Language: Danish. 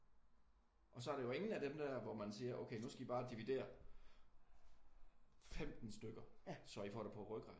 Og så er der jo ingen af dem der hvor man siger okay nu skal I bare dividere 15 stykker så I får det på rygraden